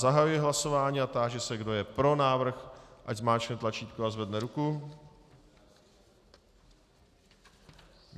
Zahajuji hlasování a táži se, kdo je pro návrh, ať zmáčkne tlačítko a zvedne ruku.